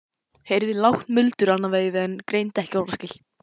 Heyrði lágt muldur annað veifið en greindi ekki orðaskil.